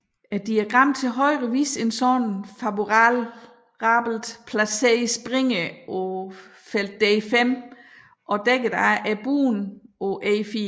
Diagrammet til højre viser en sådan favorabelt placeret springer på feltet d5 og dækket af bonden på e4